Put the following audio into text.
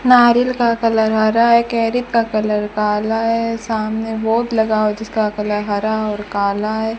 नारियल का कलर हरा है कैरी का कलर काला है सामने बोट लगा हुआ जिसका कलर हरा और काला है।